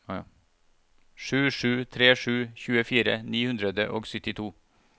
sju sju tre sju tjuefire ni hundre og syttito